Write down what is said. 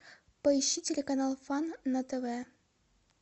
поищи телеканал фан на тв